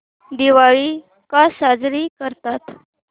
दिवाळी का साजरी करतात